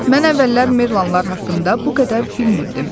Mən əvvəllər merlanlar haqqında bu qədər bilmirdim.